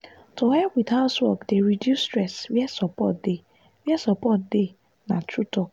to help with housework dey reduce stress where support dey where support dey na true talk.